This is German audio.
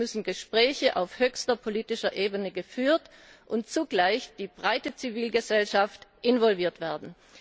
Hierzu müssen Gespräche auf höchster politischer Ebene geführt und zugleich die breite Zivilgesellschaft involviert werden.